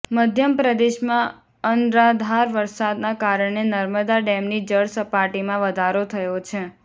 મધ્ય પ્રદેશમાં અનરાધાર વરસાદના કારણે નર્મદા ડેમની જળસપાટીમાં વધારો થયો છે